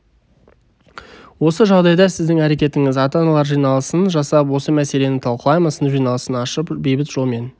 осы жағдайда сіздің әрекетіңіз ата-аналар жиналысын жасап осы мәселені талқылаймын сынып жиналысын ашып бейбіт жолмен